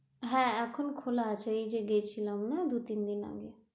হ্যাঁ, এখন খোলা আছে এই যে গেছিলাম না দু তিন দিন আগে,